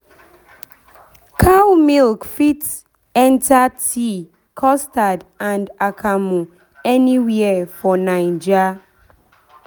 cow milk fit enter tea custard and akamu anywhere for naija